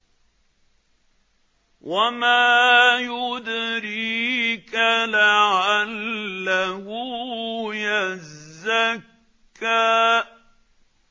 وَمَا يُدْرِيكَ لَعَلَّهُ يَزَّكَّىٰ